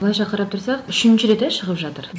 былайша қарап тұрсақ үш рет ә шығып жатыр